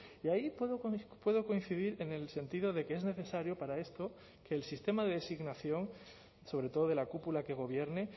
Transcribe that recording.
y ahí puedo coincidir en el sentido de que es necesario para esto que el sistema de designación sobre todo de la cúpula que gobierne